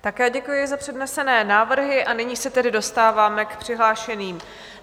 Také děkuji za přednesené návrhy, a nyní se tedy dostáváme k přihlášeným.